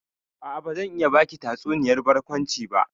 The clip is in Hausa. A'a, bazan iya baki tatsuniyar barkwanci ba.